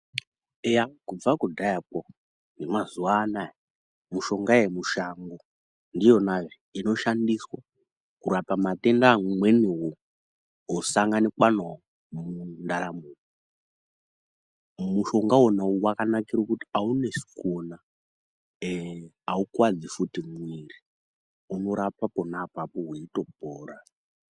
Eya, kubva kudhayakwo nemazuwa anaya mushonga yemushango ndiyona inoshandiswa kurapa matenda amweniwo osanganikwa nawo mundaramo. Mushonga wona uyu wakanakira kuti aunesi kuona, aukuwadzi futi mwiri unorapa pona apapo weitopora .